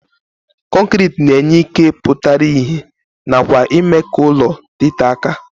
Kọnkriti na-enye ike pụtara ihe nakwa ime ka ụlọ dịtee aka.